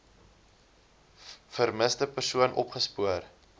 vermiste persoon opgespoor